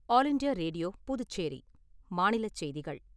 All India radio, Puducherry. மாநிலச் செய்திகள்